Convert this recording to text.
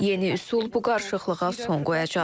Yeni üsul bu qarışıqlığa son qoyacaq.